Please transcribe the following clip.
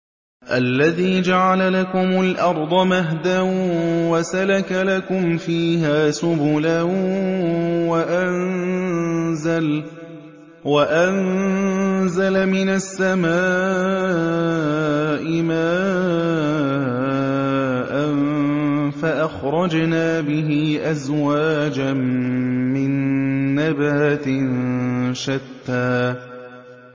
الَّذِي جَعَلَ لَكُمُ الْأَرْضَ مَهْدًا وَسَلَكَ لَكُمْ فِيهَا سُبُلًا وَأَنزَلَ مِنَ السَّمَاءِ مَاءً فَأَخْرَجْنَا بِهِ أَزْوَاجًا مِّن نَّبَاتٍ شَتَّىٰ